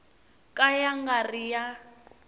ka ya nga ri ya